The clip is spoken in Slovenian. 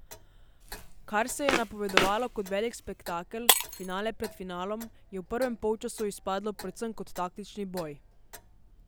Kar se je napovedovalo kot velik spektakel, finale pred finalom, je v prvem polčasu izpadlo predvsem kot taktični boj.